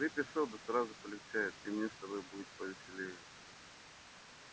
выпей соды сразу полегчает и мне с тобою будет по веселее